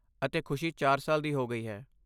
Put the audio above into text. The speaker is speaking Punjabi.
ਅਤੇ ਖੁਸ਼ੀ ਚਾਰ ਸਾਲ ਦੀ ਹੋ ਗਈ ਹੈ।